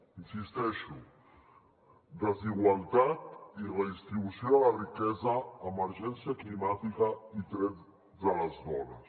hi insisteixo desigualtat i redistribució de la riquesa emergència climàtica i drets de les dones